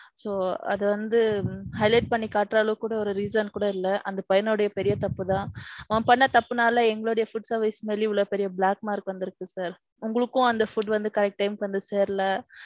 So, அது வந்து highlight பன்னி காட்டுற அளவுக்கு கூடி ஒரு reason கூட இல்ல. அந்த பைய்யனோட பெரிய தப்பு தான். அவன் பண்ண தப்புனால எங்களோட food service மேல இவ்வளவு பெரிய black mark வந்திருக்கு sir. உங்களுக்கும் அந்த food வந்து correct time க்கு வந்து சேரல.